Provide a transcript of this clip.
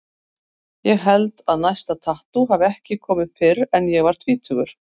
Ég held að næsta tattú hafi ekki komið fyrr en ég var tvítugur.